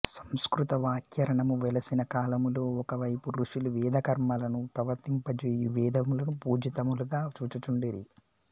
సంస్కృత వ్యాకరణము వెలసిన కాలములో ఒక వైపు ఋషులు వేదకర్మలను ప్రవర్తింపజేయుచు వేదములను పూజ్యితములుగా చూచుచుండిరి